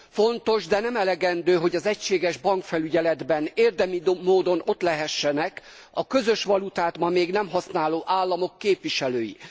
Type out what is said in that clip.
Fontos, de nem elegendő, hogy az egységes bankfelügyeletben érdemi módon ott lehessenek a közös valutát ma még nem használó államok képviselői.